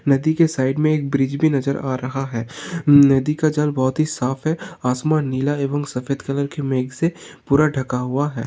नदी के साइड में एक ब्रिज भी नजर आ रहा है। नदी का जल बहुत ही साफ है आसमान नीला एवं सफेद कलर के मेघ से पूरा ढका हुआ है।